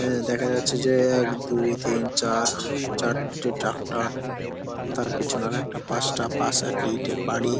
এ-এ দেখা যাচ্ছে যে এক দুই তিন চার চারটে ট্র্যাক্টর । তার পিছনে আর একটা পাঁচটা পাশে একটি ইটের বাড়ি।